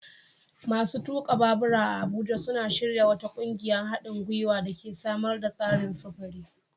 Masu tuka babura a Abuja suna shirya wata ƙungiyar haɗin guiwa da ke samar da tsarin sufuri.